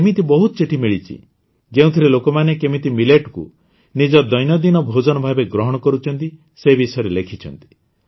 ମୋତେ ଏମିତି ବହୁତ ଚିଠି ମିଳିଛି ଯେଉଁଥିରେ ଲୋକମାନେ କେମିତି Milletକୁ ନିଜ ଦୈନନ୍ଦିନ ଭୋଜନ ଭାବେ ଗ୍ରହଣ କରୁଛନ୍ତି ସେ ବିଷୟରେ ଲେଖିଛନ୍ତି